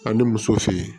Ani muso fin